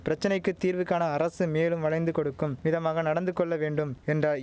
பிரச்சனைக்கு தீர்வு காண அரசு மேலும் வளைந்து கொடுக்கும் விதமாக நடந்து கொள்ள வேண்டும் என்றாய்